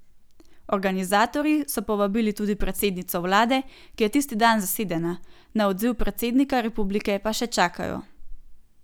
Organizatorji so povabili tudi predsednico vlade, ki je tisti dan zasedena, na odziv predsednika republike pa še čakajo.